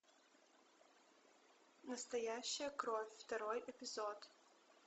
настоящая кровь второй эпизод